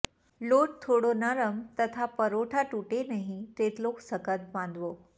લોટ થોડો નરમ તથા પરોઠા તૂટે નહી તેટલો સખત બાંધવો